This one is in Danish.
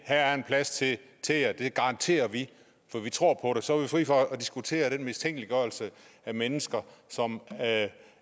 her er en plads til jer det garanterer vi for vi tror så var vi fri for at diskutere den mistænkeliggørelse af mennesker som